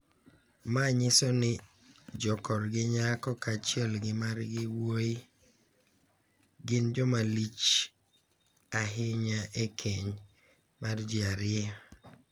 Ma nyiso ni jokorgi nyako kaachiel gi margi wuoyi gin jomalich ahiny e keny mar ji ariyogi.